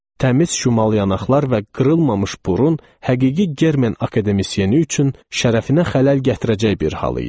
Təmiz şumal yanaqlar və qırılmamış burun həqiqi germen akademisyen üçün şərəfinə xələl gətirəcək bir hal idi.